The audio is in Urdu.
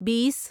بیس